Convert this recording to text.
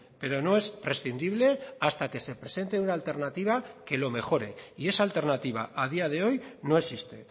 pero no es prescindible hasta que se presente una alternativa que lo mejore y esa alternativa a día de hoy no existe